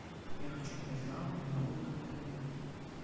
я хочу подать жалобу на работу отеля